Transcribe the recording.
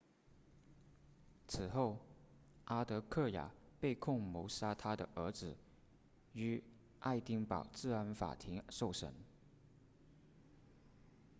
此后阿德克雅被控谋杀她的儿子于爱丁堡治安法庭受审